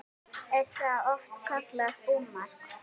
Er það oft kallað búmark.